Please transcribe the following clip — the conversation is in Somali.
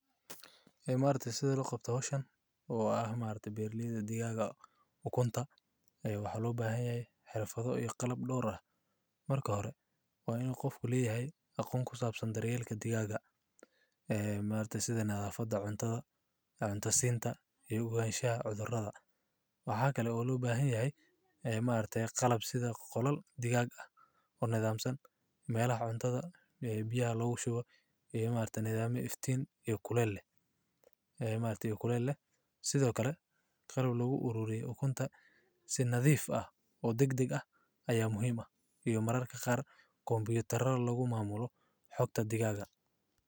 Imaarte Sida La Qabto Hoshan oo ah imaarta beer liida digaaga u kunta, ayuu xaluub aheen yaa xirfado iyo qalab dhowr ah. Marka hore, waa inuu qofku lii yahay aqoon ku saabsan deryeelka digaaga ah. Ee imaarta sida nidaam foda cunto, cunto siinta iyo ogaanshaha cudurada. Waxaa kale oo lugu baahn yahay imaarta qalab sida qolal digaag ah u niidaamsan meelo cunto ah ee biyaha loogu shubo iyo imaanta nidaamka iftiin iyo kuleelleh. Ee imaanta kuleelleh. Sidoo kale, qalab lagu uruuriyay u kunta si nadiif ah oo degdeg ah ayaa muhiima iyo mararka qaar kombiyuutararo lagu maamulo xoogta digaaga.